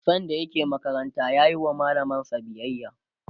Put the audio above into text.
sanda yake makaranta yayi wa mallamansa biyaya